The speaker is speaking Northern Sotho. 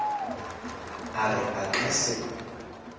a re a ka se